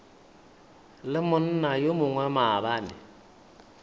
le monna yo mongwe maabane